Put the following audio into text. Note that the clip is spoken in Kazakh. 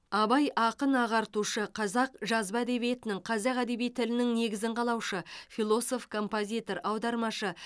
абай ақын ағартушы қазақ жазба әдебиетінің қазақ әдеби тілінің негізін қалаушы философ композитор аудармашы